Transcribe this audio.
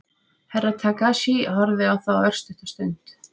Herra Takashi horfði á þá örstutta stund.